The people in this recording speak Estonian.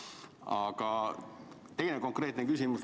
Aga teine konkreetne küsimus.